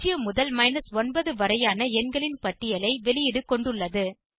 0 முதல் 9 வரையான எண்களின் பட்டியலை வெளியீடு கொண்டுள்ளது